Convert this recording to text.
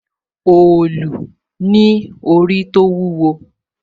òòlù ní orí tó wúwo